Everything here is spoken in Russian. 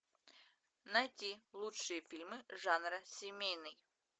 найти лучшие фильмы жанра семейный